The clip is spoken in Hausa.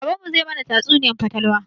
Baban mu zai mana tatsuniyar fatalwa